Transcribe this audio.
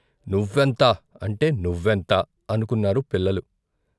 నువ్వెంత అంటే నువ్వెంత అనుకున్నారు పిల్లలు.